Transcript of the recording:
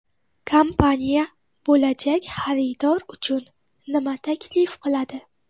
Kompaniya bo‘lajak xaridor uchun nima taklif qiladi?